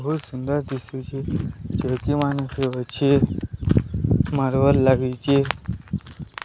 ଭୋଉତ୍ ସୁନ୍ଦର ଦିସୁଛି ଚୋଉକି ମାନେ ବି ଅଛି ମାରବାରି ଲାଗିଚି।